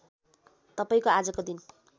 तपाईँको आजको दिन